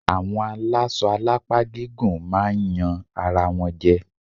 Àwọn alásọ alápá gígùn máa yan ara wọn jẹ.